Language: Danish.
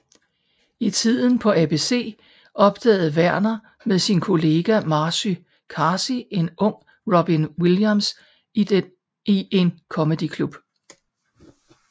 I tiden på ABC opdagede Werner med sin kollega Marcy Carsey en ung Robin Williams i en comedy club